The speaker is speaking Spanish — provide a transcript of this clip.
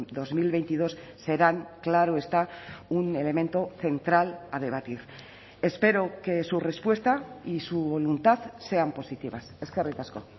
dos mil veintidós serán claro está un elemento central a debatir espero que su respuesta y su voluntad sean positivas eskerrik asko